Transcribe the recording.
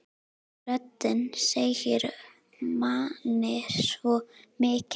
Röddin segir manni svo mikið.